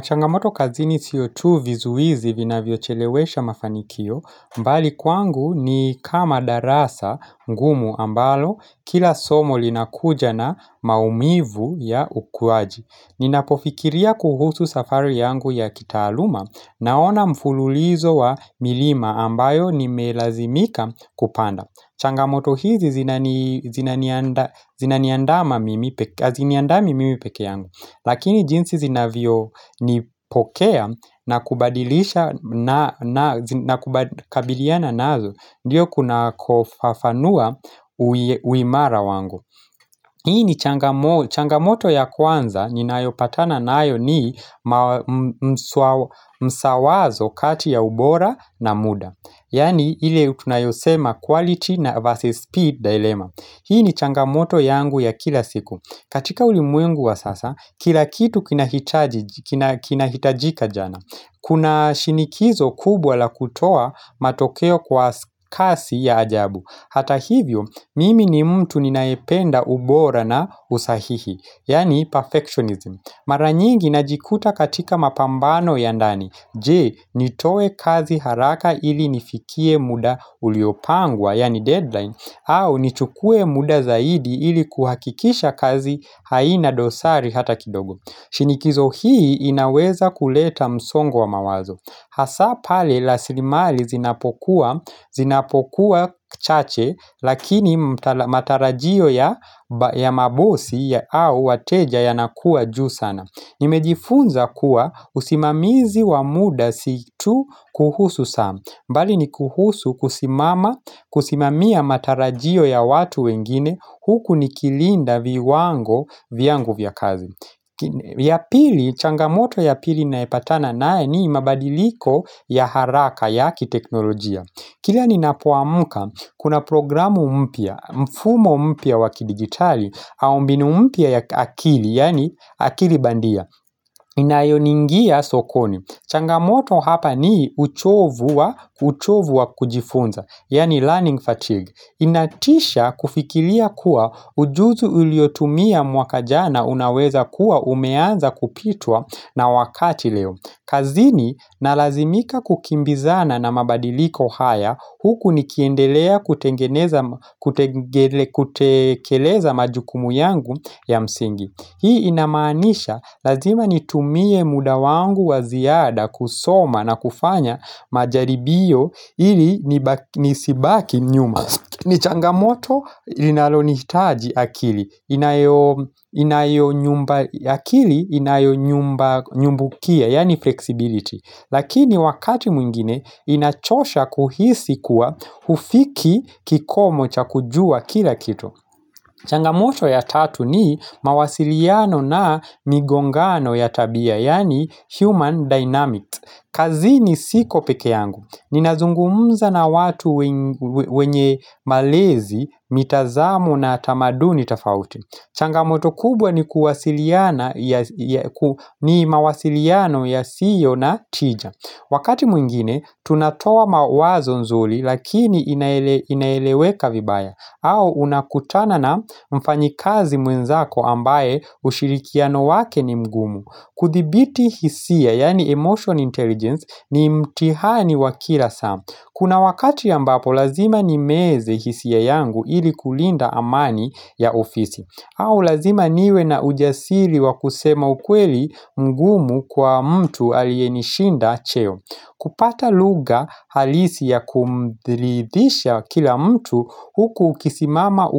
Changamoto kazi sio tu vizuizi vinavyochelewesha mafanikio, bali kwangu ni kama darasa ngumu ambalo, kila somo linakuja na maumivu ya ukuaji. Ninapofikiria kuhusu safari yangu ya kitaaluma, naona mfululizo wa milima ambayo nimelazimika kupanda. Changamoto hizi zinaniandama mimi haziniandami mimi pekee yangu. Lakini jinsi zinavyonipokea na kubadilisha na kabiliana nayo Ndiyo kunakofafanua uimara wangu Hii ni changamoto ya kwanza ninayopatana nayo ni msawazo kati ya ubora na muda Yaani ile tunayosema quality na versus speed dilemma Hii ni changamoto yangu ya kila siku katika ulimwengu wa sasa, kila kitu kinahitaji kinahitajika jana. Kuna shinikizo kubwa la kutoa matokeo kwa kasi ya ajabu. Hata hivyo, mimi ni mtu ninayependa ubora na usahihi, yaani perfectionism. Mara nyingi najikuta katika mapambano ya ndani Je, nitoe kazi haraka ili nifikie muda uliopangwa, yani deadline au, nichukue muda zaidi ili kuhakikisha kazi haina dosari hata kidogo shinikizo hii inaweza kuleta msongo wa mawazo Hasa pale rasilimali zinapokuwa zinapokuwa chache Lakini matarajio ya mabosi ya au wateja yanakuwa juu sana Nimejifunza kuwa usimamizi wa muda si tu kuhusu saa bali ni kuhusu kusimama kusimamia matarajio ya watu wengine Huku nikilinda viwango vyangu vya kazi ya pili changamoto ya pili ninayopatana nayo ni mabadiliko ya haraka ya kiteknolojia Kila ninapoamka, kuna programu mpya, mfumo mpya wa kidigitali, au mbinu mpya ya akili, yaani akili bandia Inayoningia sokoni, changamoto hapa ni uchovu wa uchovu wa kujifunza, yaani learning fatigue Inatisha kufikiria kuwa ujuzu uliotumia mwaka jana unaweza kuwa umeanza kupitwa na wakati leo kazini nalazimika kukimbizana na mabadiliko haya huku nikiendelea kutengeneza kutekeleza majukumu yangu ya msingi Hii inamanisha lazima nitumie muda wangu wa ziada kusoma na kufanya majaribio ili nisibaki nyuma ni changamoto linalonihitaji akili inayo akili, inayo nyumba nyumbukia, yani flexibility, lakini wakati mwingine inachosha kuhisi kuwa hufiki kikomo cha kujua kila kitu. Changamoto ya tatu ni mawasiliano na migongano ya tabia, yaani human dynamics. Kazini siko pekee yangu. Ninazungumza na watu wenye malezi, mitazamo na tamaduni tofauti. Changamoto kubwa ni kuwasiliana ni mawasiliano yasiyo na tija. Wakati mwingine, tunatoa mawazo nzuri lakini inaeleweka vibaya au unakutana na mfanyikazi mwenzako ambaye ushirikiano wake ni mgumu kuthibiti hisia, yaani emotion intelligence, ni mtihani wa kila saa Kuna wakati ambapo, lazima nimeze hisia yangu ili kulinda amani ya ofisi au lazima niwe na ujasili wa kusema ukweli mgumu kwa mtu aliyenishinda cheo kupata lugha halisi ya kumridhisha kila mtu huku ukisimama